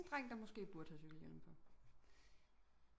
En dreng der måske burde have cykelhjelm på